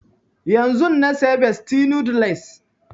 Yanzun na saya bestie noodles